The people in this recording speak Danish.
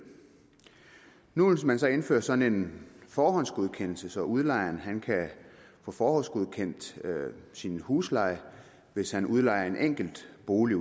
nu vil man så indføre sådan en forhåndsgodkendelse så udlejeren kan få forhåndsgodkendt sin husleje hvis han udlejer en enkelt bolig